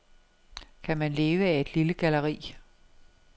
Kan man leve af et lille galleri?